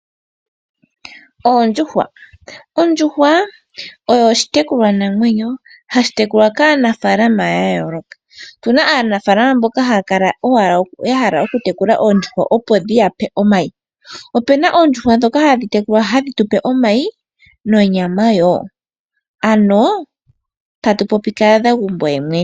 Ondjushwa oyo oshitekulwanamweyo hashi tekulwa kaanafalama ya yooloka. Ope na aanafalama mboka haya tekula oondjushwa opo dhi ya pe omawi. Ope na oondjushwa dhimwe hadhi tekulwa dhi tu pe omayi nonyama, ano kaazagumbo ye mwene.